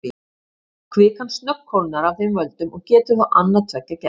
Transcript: Kvikan snöggkólnar af þeim völdum og getur þá annað tveggja gerst.